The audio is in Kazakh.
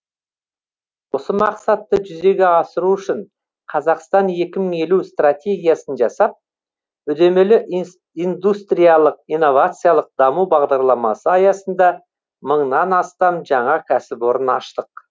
осы мақсатты жүзеге асыру үшін қазақстан екі мың елу стратегиясын жасап үдемелі индустриялық инновациялық даму бағдарламасы аясында мыңнан астам жаңа кәсіпорын аштық